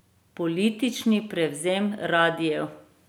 Politični prevzem radiev.